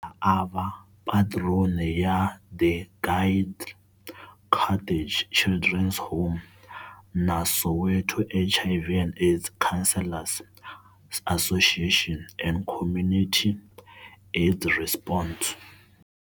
A va patron ya the Guild Cottage Children's Home, na Soweto HIV and AIDS Counselors' Association and Community AIDS Response.